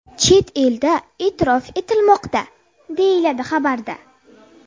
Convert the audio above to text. Chet elda e’tirof etilmoqda”, deyiladi xabarda.